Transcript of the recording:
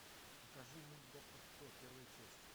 покажи мульт доктор кто первая часть